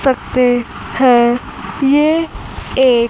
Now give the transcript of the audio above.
सकते हैं ये एक--